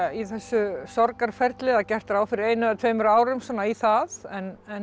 í þessu sorgarferli það er gert ráð fyrir einu eða tveimur árum svona í það en